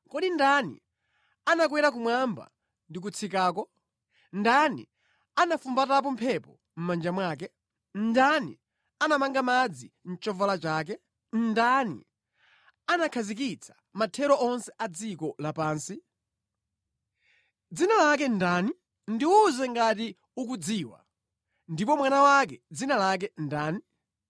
Kodi ndani anakwera kumwamba ndi kutsikako? Ndani anafumbatapo mphepo mʼmanja mwake? Ndani anamanga madzi mʼchovala chake? Ndani anakhazikitsa mathero onse a dziko lapansi? Dzina lake ndani? Ndiwuze ngati ukudziwa! Ndipo mwana wake dzina lake ndani?